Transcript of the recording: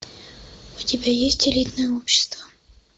у тебя есть элитное общество